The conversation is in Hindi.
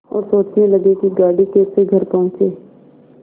और सोचने लगे कि गाड़ी कैसे घर पहुँचे